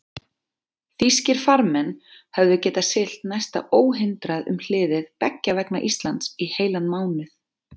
Þýskir farmenn höfðu getað siglt næsta óhindrað um hliðið beggja vegna Íslands í heilan mánuð.